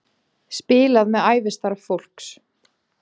Spilað með ævistarf fólks